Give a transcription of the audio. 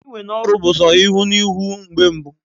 Iwe n'oru bu so ihu na ihu mgbe mbụ